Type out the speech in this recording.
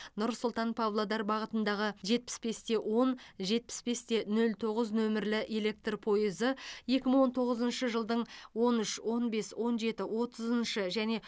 нұр сұлтан павлодар бағытындағы жетпіс бес те он жетпіс бес те нөл тоғыз нөмірлі электр пойызы екі мың он тоғызыншы жылдың он үш он бес он жеті отызыншы және